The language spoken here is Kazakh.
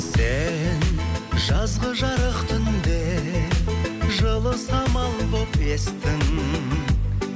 сен жазғы жарық түнде жылы самал болып естің